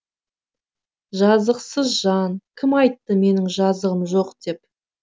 жазықсыз жан кім айтты менің жазығым жоқ деп